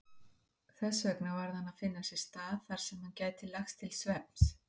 Þessvegna varð hann að finna sér stað þarsem hann gæti lagst til svefns.